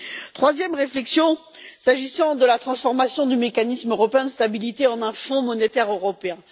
Ma troisième réflexion porte sur la transformation du Mécanisme européen de stabilité en un Fonds monétaire européen.